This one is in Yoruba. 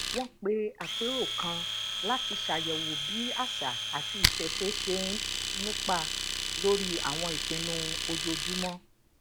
wọn pe apero kan láti ṣàyèwò bí àṣà àti isese ṣe ń nípa lórí àwọn ìpinnu ojoojúmọ